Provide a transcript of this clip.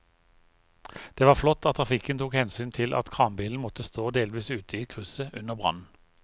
Det var flott at trafikken tok hensyn til at kranbilen måtte stå delvis ute i krysset under brannen.